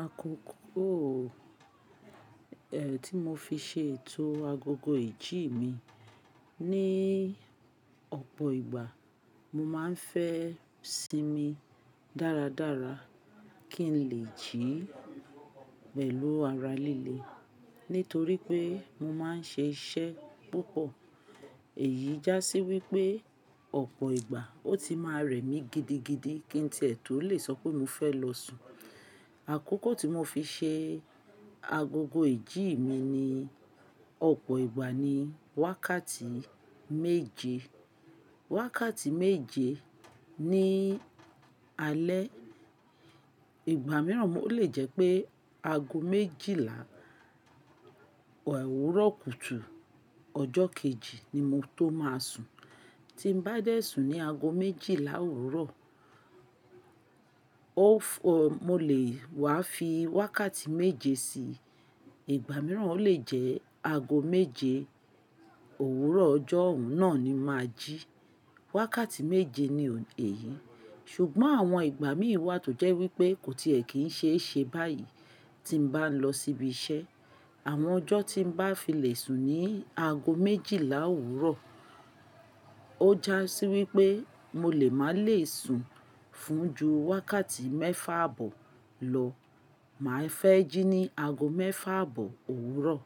Àkókò o, eh tí mo fi ṣe ètò agogo ìjí mi ní ọ̀pọ̀ ìgbà mo máa ń fẹ́ sinmi dára dára kí n lè jí pẹ̀lú ara líle. Nítorí pé mo máa ń ṣe iṣẹ́ púpọ̀, èyí já sí wípé ọ̀pọ̀ ìgbà ó ti máa rẹ̀ mí gidigidi kí n tí ẹ̀ tó le sọ pé mo fẹ́ lọ sùn. Àkókò tí mo fi ṣe agogo ìjí mi ní ọ̀pọ̀ ìgbà ni wákàtí méje. Wákàtí méje ni alẹ́, ìgbà mìíràn ó lè jẹ́ pé ago méjìlá òwúrọ̀ kùtù ọjọ́ kejì ni mo tó máa sùn. Tí n bá dẹ̀ sùn ní ago méjìlá òwúrọ̀, o f- o mo lè wá fi wákàtí méje sí i, ìgbà mìíràn ó lè jẹ́ ago méje òwúrọ̀ ọjọ́ ọ̀ún náà ni màá jí. Wákàtí méje ni èyí, ṣùgbọ́n àwọn ìgbà mi wà tó jẹ́ wípé kò tí ẹ̀ kín ṣe é ṣe báyìí tí n bá lọ síbi iṣẹ́. Àwọn ọjọ́ tí n bá fi lè sùn ní ago méjìlá òwúrọ̀, ó já sí wípé mo lè má lè sùn fún ju wákàtí mẹ́fà àbọ̀ lọ. Màá fẹ́ jí ní ago mẹ́fà àbọ̀ òwúrọ̀.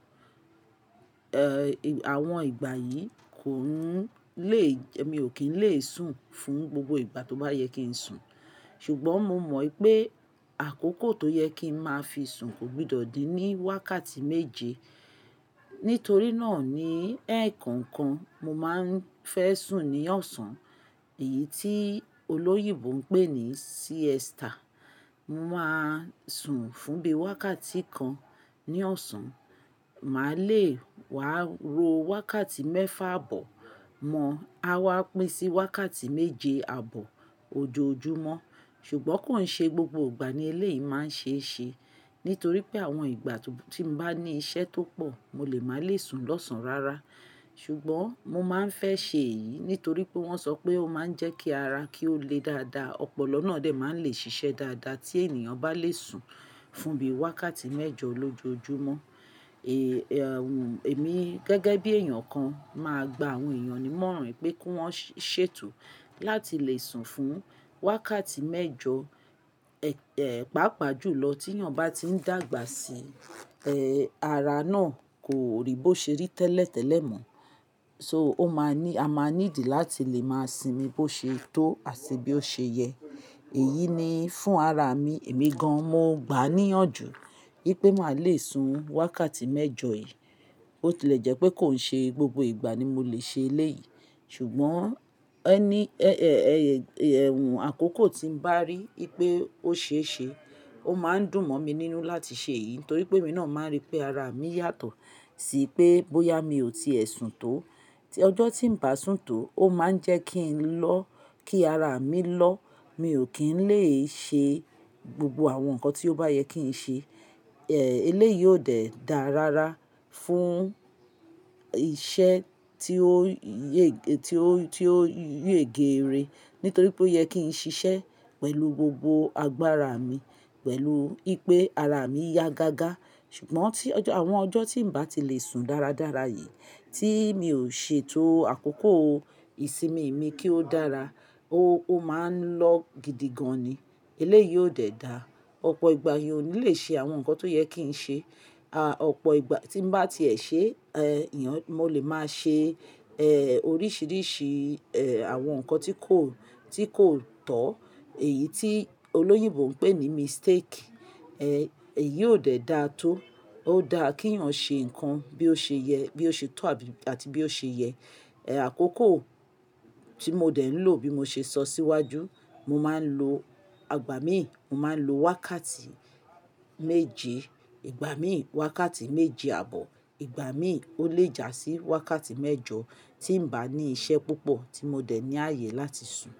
Eh ìw- àwọn ìgbà yìí kò n lè jẹ́ mi ò kín lè sùn fún gbogbo ìgbà tó bá yẹ kí n sùn. Ṣùgbọ́n mo mọ pé àkókò tó yẹ kí n máa fi sùn kò gbọdọ̀ di ní wákàtí méje. Nítorí náà ni ẹ̀ẹ̀kọkan mo máa ń fẹ́ sùn ní ọ̀sán, èyí tí olóyìnbó ń pè ní siesta. Mo máa sùn fún bí i wákàtí kan ní ọ̀sán, màá lè wá ro wákàtí mẹ́fà àbọ̀ mọ, á wá pín sí wákàtí méje àbọ̀ ojoojúmọ́. Ṣùgbọ́n kò ń ṣe gbogbo ìgbà ni eléyìí máa ń ṣe é ṣe, nítorí pé àwọn ìgbà tó ti n bá ní iṣẹ́ tó pọ̀ mo lè má lè sùn lọ́sàn-án rárá. Ṣùgbọ́n mo máa ń fẹ́ ṣe èyí nítorí pé wọ́n sọ pé ó máa ń jẹ́ kí ara kí ó le dáadáa, ọpọlọ náà dẹ̀ máa ń lè ṣiṣẹ́ dáadáa tí ènìyàn bá lè sùn fún bí i wákàtí mẹ́jọ lójoojúmọ́. Èèyàwùn èmi gẹ́gẹ́ bí ènìyàn kan máa gba àwọn èèyàn ní mọ̀ọ́ràn pé kí wọ́n ṣe ètò láti lè sùn fún wákàtí mẹ́jọ, eh pàápàá jù lọ tí ènìyàn bá ti ń dàgbà sí. Eh ara náà kò rí bó ṣe rí tẹ́lẹ̀tẹ́lẹ̀ mọ́, so ó máa ní a máa ní ìdí láti lè máa sinmi bó ṣe tó àti bí ó ṣe yẹ. Èyí ni fún ara mi, èmi gan an mo gbà níyànjú pé màá lè sùn wákàtí mẹ́jọ yìí. Bo ti lè jẹ́ pé kò ń ṣe gbogbo ìgbà ni mo lè ṣe eléyìí, ṣùgbọ́n ẹni eh ẹyẹ èwùn àkókò tí n bá rí pé ó ṣe é ṣe, ó máa ń dùn mọ́ mi nínú láti ṣe èyí torí pé èmi náà máa ń rí pé ara mi yàtọ̀ sí i pé bóyá mi ò tíì ẹ sùn tó. Tí ọjọ́ tí n bá sùn tó ó máa ń jẹ́ kí n lọ́ kí ara mi lọ́, mi ò kín lè ṣe gbogbo àwọn nǹkan tí ó bá yẹ kí n ṣe. Eh eléyìí ò dẹ̀ dára rárá fún iṣẹ́ tí ó yèége tí ó tí ó yèége ire, nítorí pé ó yẹ kí n ṣiṣẹ́ pẹ̀lú gbogbo agbára mi, pẹ̀lú pé ara mi ya gágá. Ṣùgbọ́n tí ọjọ́ àwọn ọjọ́ tí n bá ti lè sùn dáradára yìí tí mi ò ṣe ètò àkókò ìsinmi mi kí ó dára, ó ó máa ń lọ́ gidigan ni. Eléyìí ò dẹ̀ dáa. Ọ̀pọ̀ ìgbà èèyàn ò ní lè ṣe àwọn nǹkan tó yẹ kí n ṣe. A ọ̀pọ̀ ìgbà tí n bá ti ẹ̀ ṣe, eh ìyàn mo lè máa ṣe eh oríṣìíríṣìí eh àwọn nǹkan tí kò tí kò tọ́, èyí tí olóyìnbó ń pè ní mistake. Eh èyí ò dẹ̀ dáa tó. Ó dáa kí èèyàn ṣe nǹkan bí ó ṣe yẹ bí ó ṣe tó àti bí ó ṣe yẹ. Eh àkókò tí mo dẹ̀ ń lò bí mo ṣe sọ síwájú, mo máa ń lo àgbà miì, mo máa ń lo wákàtí méje. Ìgbà mí wákàtí méje àbọ̀. Ìgbà mí ó lè jásí wákàtí mẹ́jọ tí n bá ní iṣẹ́ púpọ̀ tí mo dẹ̀ ní ààyè láti sùn.